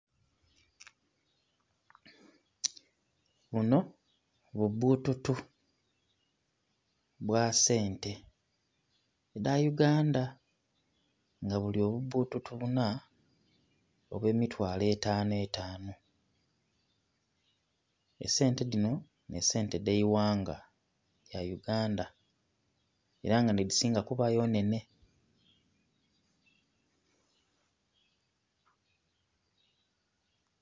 Buno bubbututu bwa sente dha Uganda. Nga buli obubbututu buna obw'emitwalo etano etano. Esente dhino nh'esente edh'eighanga lya Uganda. Era nga nh'edhisinga kubayo nhenhe.